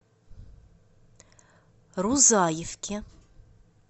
рузаевке